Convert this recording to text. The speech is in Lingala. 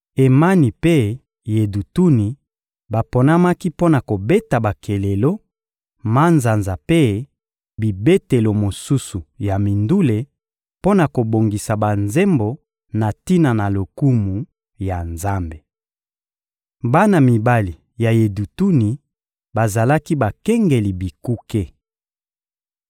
Emani mpe Yedutuni baponamaki mpo na kobeta bakelelo, manzanza mpe bibetelo mosusu ya mindule mpo na kobongisa banzembo na tina na lokumu ya Nzambe. Bana mibali ya Yedutuni bazalaki bakengeli bikuke.